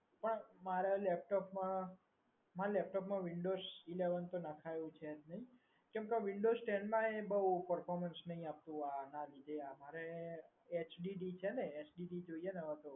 મારે laptop માં મારા laptop માં windows eleven તો નખાવ્યું છે કેમ કે windows ten માં બહુ performance નહીં આપતું આના લીધે આ HDD જોઈએ ને HDD છે ને